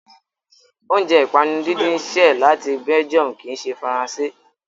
Oúnjẹ ìpanu díndín ṣẹ́ ẹ̀ láti Belgium kì í ṣe Faransé.